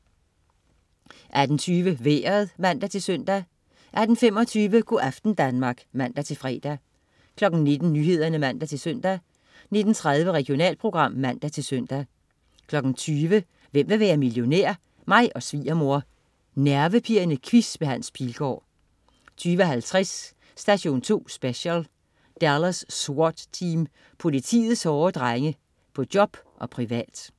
18.20 Vejret (man-søn) 18.25 Go' aften Danmark (man-fre) 19.00 Nyhederne (man-søn) 19.30 Regionalprogram (man-søn) 20.00 Hvem vil være millionær? Mig og svigermor. Nervepirrende quiz med Hans Pilgaard 20.50 Station 2 Special: Dallas SWAT Team. Politiets hårde drenge. På job og privat